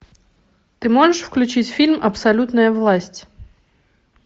ты можешь включить фильм абсолютная власть